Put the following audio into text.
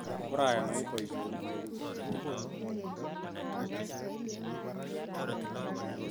Korayan oib boisionik chekuk